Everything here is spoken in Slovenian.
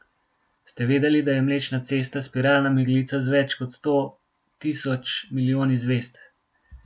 Ste vedeli, da je Mlečna cesta spiralna meglica z več kot sto tisoč milijoni zvezd?